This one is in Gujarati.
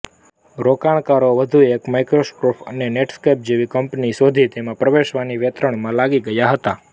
રોકાણકારો વધુ એક માઇક્રોસોફ્ટ અને નેટસ્કેપજેવી કંપની શોધીને તેમાં પ્રવેશવાની વેતરણમાં લાગી ગયા હતાં